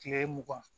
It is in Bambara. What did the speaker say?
Kile mugan